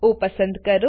ઓ પસંદ કરો